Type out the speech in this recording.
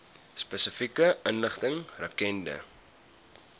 spesifieke inligting rakende